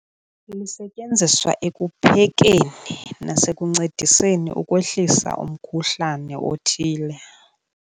Lisetyenziswa ekuphekeni nasekuncediseni ukwehlisa umkhuhlane othile.